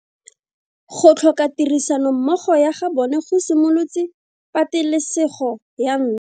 Go tlhoka tirsanommogo ga bone go simolotse patelesego ya ntwa.